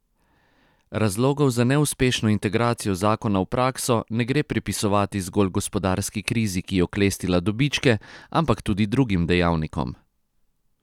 Razlogov za neuspešno integracijo zakona v prakso ne gre pripisovati zgolj gospodarski krizi, ki je oklestila dobičke, ampak tudi drugim dejavnikom.